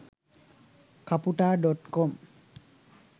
kaputa.com